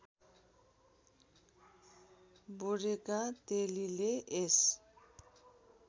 बोडेका तेलीले यस